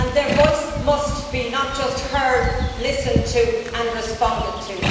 Their voice must be not just heard but listened to and responded to.